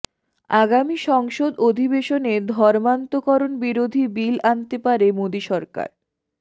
আগামী সংসদ অধিবেশনে ধর্মান্তকরণ বিরোধী বিল আনতে পারে মোদী সরকার